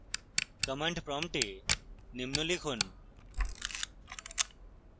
command prompt নিম্ন লিখুন